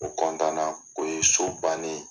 O o ye so bannen